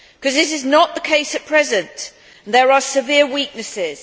This is not the case at present and there are severe weaknesses.